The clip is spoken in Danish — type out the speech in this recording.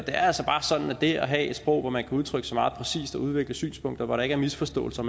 er altså bare sådan at det at have et sprog hvor man kan udtrykke sig meget præcist og udveksle synspunkter hvor der ikke er misforståelser